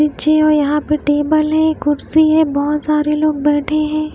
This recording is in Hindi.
जी और यहां पे टेबल है कुर्सी है बहुत सारे लोग बैठे हैं।